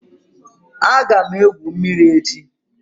Aga m egwu mmiri echi.